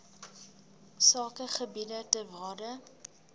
sakegebiede ter waarde